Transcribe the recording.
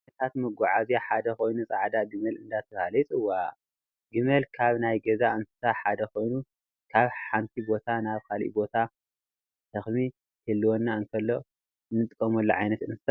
ካብ ዓይነታት መጎዓያ ሓደ ጎይኑ ፃዕዳ ግመል እንዳተባሃለ ይፅዋዕ። ዕመል ካብ ናይ ገዛ እንስሳ ሓደ ኮይኑ ካብ ሓ ቦታ ናብ ካሊእ ቦታ ሸክሚ ክህልወልና እንከሎ እንጥቀመሉ ዓይነት እንስሳ እዩ።